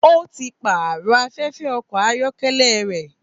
Ó ti pààrọ̀ afẹ́fẹ́ ọkọ̀ ayọ́kẹ́lẹ́ rẹ̀.